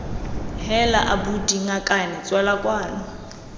heela abuti ngakane tswela kwano